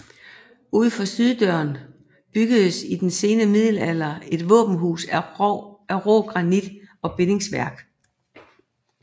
Udfor syddøren byggedes i den sene middelalder et våbenhus i rå granit og bindingsværk